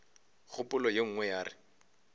kgopolo ye nngwe ya re